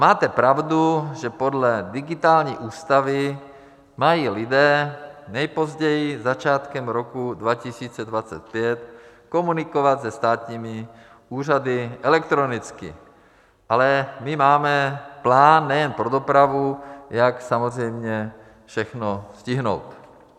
Máte pravdu, že podle digitální ústavy mají lidé nejpozději začátkem roku 2025 komunikovat se státními úřady elektronicky, ale my máme plán nejen pro dopravu, jak samozřejmě všechno stihnout.